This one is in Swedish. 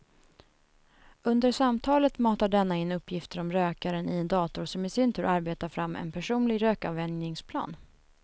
Under samtalet matar denna in uppgifter om rökaren i en dator som i sin tur arbetar fram en personlig rökavvänjningsplan.